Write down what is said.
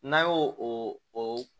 N'an y'o o o